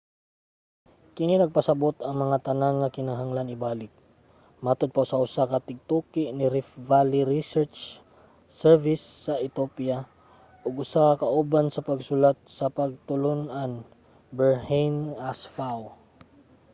kini nagpasabot nga ang tanan kay kinahanglan ibalik, matod pa sa usa ka tigtuki sa riff valley research service sa ethiopia ug usa ka kauban sa pagsulat sa pagtulon-an berhane asfaw